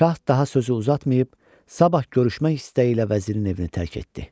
Şah daha sözü uzatmayıb, sabah görüşmək istəyilə vəzirin evini tərk etdi.